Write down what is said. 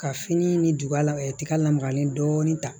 Ka fini ni dugumɛ tiga lamagalen dɔɔnin ta